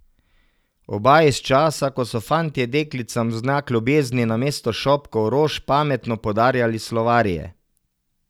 Oba iz časa, ko so fantje deklicam v znak ljubezni namesto šopkov rož pametno podarjali slovarje.